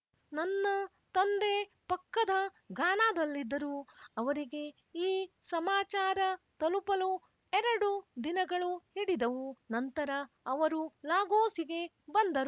ನನ್ನ ತಂದೆ ಪಕ್ಕದ ಘಾನಾದಲ್ಲಿದ್ದರು ಅವರಿಗೆ ಈ ಸಮಾಚಾರ ತಲುಪಲು ಎರಡು ದಿನಗಳು ಹಿಡಿದವು ನಂತರ ಅವರು ಲಾಗೋಸಿಗೆ ಬಂದರು